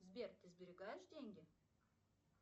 сбер ты сберегаешь деньги